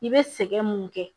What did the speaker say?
I bɛ sɛgɛn mun kɛ